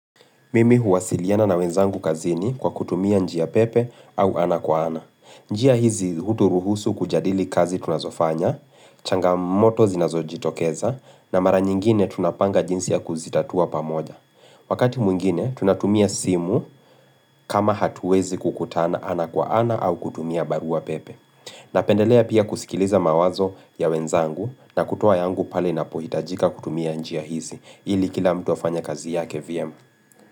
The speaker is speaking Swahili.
Mimi huwasiliana na wenzangu kazini kwa kutumia njia pepe au ana kwa ana. Njia hizi hu uturuhusu kujadili kazi tunazofanya, changamoto zinazojitokeza, na mara nyingine tunapanga jinsi ya kuzitatua pamoja. Wakati mwingine, tunatumia simu kama hatuwezi kukutana ana kwa ana au kutumia barua pepe. Napendelea pia kusikiliza mawazo ya wenzangu na kutoa yangu pale inapohitajika kutumia njia hizi, ili kila mtu afanye kazi yake vyema.